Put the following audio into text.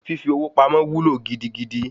Fífi owó pamọ́ wúlò gidigidi